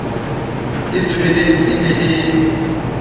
e shweleng e ne e